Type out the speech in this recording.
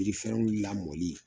Yirifɛrɛnw lamɔli